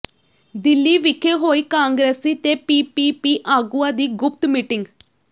ਦਿੱਲੀ ਵਿਖੇ ਹੋਈ ਕਾਂਗਰਸੀ ਤੇ ਪੀਪੀਪੀ ਆਗੂਆਂ ਦੀ ਗੁਪਤ ਮੀਟਿੰਗ